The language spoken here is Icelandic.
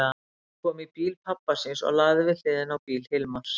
Hún kom í bíl pabba síns og lagði við hliðina á bíl Hilmars.